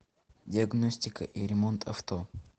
диагностика и ремонт авто